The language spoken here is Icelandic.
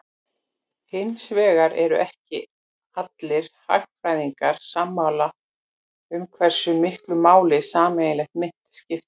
Hins vegar eru ekki allir hagfræðingar sammála um hversu miklu máli sameiginleg mynt skipti.